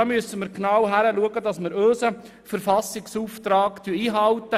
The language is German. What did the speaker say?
Da müssen wir genau hinschauen, damit wir unseren Verfassungsauftrag einhalten.